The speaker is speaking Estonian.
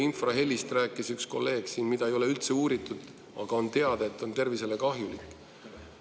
Infrahelist rääkis üks kolleeg siin, seda ei ole üldse uuritud, aga on teada, et see on tervisele kahjulik.